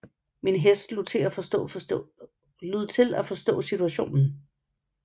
Min hest lod til at forstå situationen